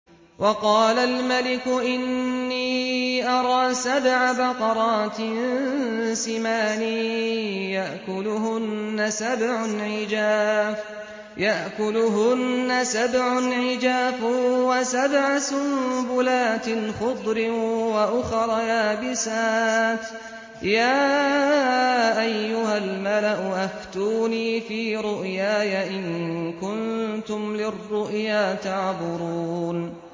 وَقَالَ الْمَلِكُ إِنِّي أَرَىٰ سَبْعَ بَقَرَاتٍ سِمَانٍ يَأْكُلُهُنَّ سَبْعٌ عِجَافٌ وَسَبْعَ سُنبُلَاتٍ خُضْرٍ وَأُخَرَ يَابِسَاتٍ ۖ يَا أَيُّهَا الْمَلَأُ أَفْتُونِي فِي رُؤْيَايَ إِن كُنتُمْ لِلرُّؤْيَا تَعْبُرُونَ